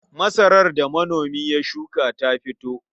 Masarar da manomi ya shuka ta fito.